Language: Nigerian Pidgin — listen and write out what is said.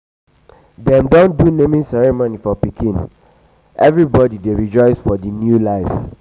dem don do naming ceremony for pikin everybody dey rejoice for the um new life.